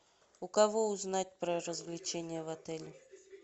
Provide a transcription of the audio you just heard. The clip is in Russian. у кого узнать про развлечения в отеле